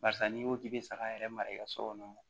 Barisa n'i ko k'i bɛ saga yɛrɛ mara i ka so kɔnɔ